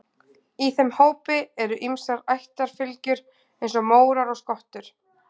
Í þeim hópi eru ýmsar ættarfylgjur eins og mórar og skottur.